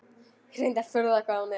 Reyndar furða hvað hún er.